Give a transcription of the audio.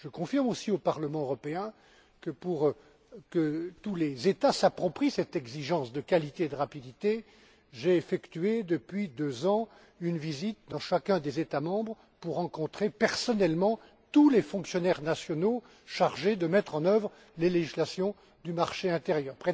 Je confirme aussi au Parlement européen que, pour que tous les États s'approprient cette exigence de qualité et de rapidité, j'ai effectué depuis deux ans une visite dans chacun des États membres pour rencontrer personnellement tous les fonctionnaires nationaux chargés de mettre en œuvre les législations du marché intérieur.